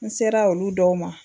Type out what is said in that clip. N sera olu dɔw ma